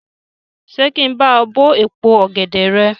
Ṣé kí n bá ọ bó èpo ọ̀gẹ̀dè rẹ?